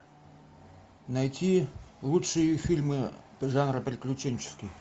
найти лучшие фильмы жанра приключенческий